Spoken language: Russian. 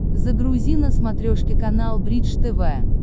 загрузи на смотрешке канал бридж тв